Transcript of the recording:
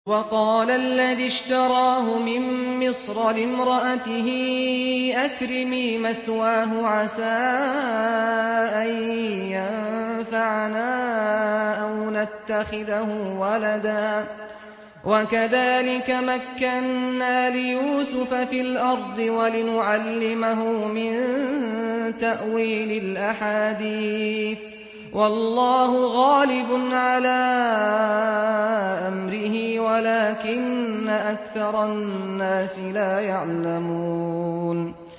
وَقَالَ الَّذِي اشْتَرَاهُ مِن مِّصْرَ لِامْرَأَتِهِ أَكْرِمِي مَثْوَاهُ عَسَىٰ أَن يَنفَعَنَا أَوْ نَتَّخِذَهُ وَلَدًا ۚ وَكَذَٰلِكَ مَكَّنَّا لِيُوسُفَ فِي الْأَرْضِ وَلِنُعَلِّمَهُ مِن تَأْوِيلِ الْأَحَادِيثِ ۚ وَاللَّهُ غَالِبٌ عَلَىٰ أَمْرِهِ وَلَٰكِنَّ أَكْثَرَ النَّاسِ لَا يَعْلَمُونَ